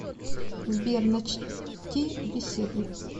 сбер начти беседу